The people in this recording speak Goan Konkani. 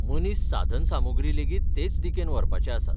मनीस साधनसामुग्री लेगीत तेच दिकेन व्हरपाचे आसात.